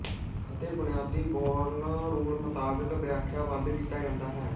ਅਤੇ ਬੁਨਿਆਦੀ Born rule ਮੁਤਾਬਿਕ ਵਿਆਖਿਆਬੱਧ ਕੀਤਾ ਜਾਂਦਾ ਹੈ